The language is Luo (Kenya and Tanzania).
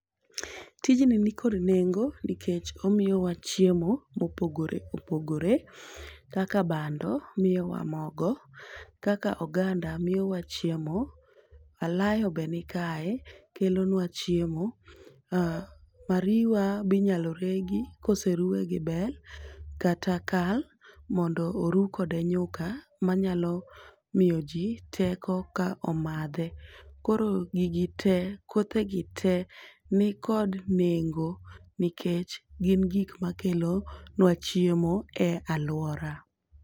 Tijni nikod nengo nikech omiwa chiemo mopogore opogore kaka bando miyowa mogo, kaka oganda miyowa chiemo. Alayobe nikae kelonwa chiemo. Mariwa be inyalo regi koseruwe gi bel, kata kal mondo orukode nyuka manyalo miyoji teko ka omadhe. Koro gigi te kothegi te nikod nengo, nikech gin gik makelo nwa chiemo e aluora.